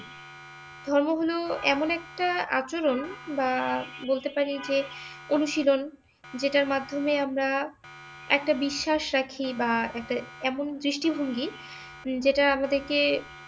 ধর্ম হলো এমন একটা আচরন বা বলতে পারি অনুশীলন, যেটার মাধ্যমে আমরা একটা বিশ্বাস রাখি বা একটা এমন দৃষ্টিভঙ্গি যেটা আমাদেরকে